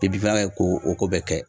Ni binfagalan ko o ko bɛɛ kɛ .